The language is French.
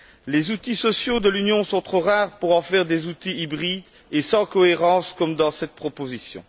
Les outils sociaux de l'Union sont trop rares pour en faire des outils hybrides et sans cohérence comme dans cette proposition.